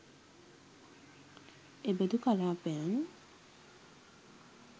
එබඳු කලාපයන්